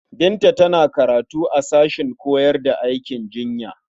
Binta tana karatu a sashen koyar da aikin jinya.